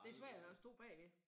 Det svært at stå bagved